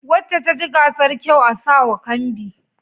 Wacce ta ci gasar kyau a sa wa kambi